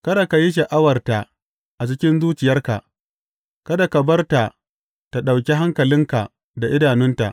Kada ka yi sha’awarta a cikin zuciyarka kada ka bar ta tă ɗauki hankalinka da idanunta.